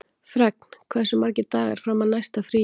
Fregn, hversu margir dagar fram að næsta fríi?